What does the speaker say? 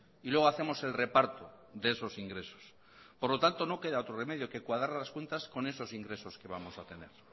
y luego hacemos el reparto de esos ingresos por lo tanto no queda otro remedio que cuadrar las cuentas con esos ingresos que vamos a tener